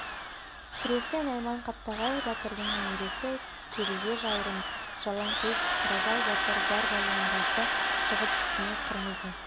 күресте найман қаптағай батырдың немересі кереге жаурын жалаң төс қаражал батыр бар балуандарды жығып үстіне қырмызы